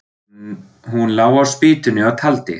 Hún lá á spýtunni og taldi.